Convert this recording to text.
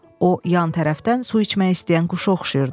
O yan tərəfdən su içmək istəyən quşa oxşayırdı.